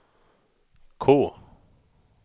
K